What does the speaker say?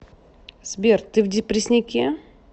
сбер ты в депрессняке